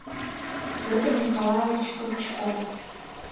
петр николаевич казачков